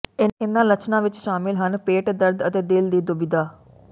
ਇਨ੍ਹਾਂ ਲੱਛਣਾਂ ਵਿੱਚ ਸ਼ਾਮਲ ਹਨ ਪੇਟ ਦਰਦ ਅਤੇ ਦਿਲ ਦੀ ਦੁਬਿਧਾ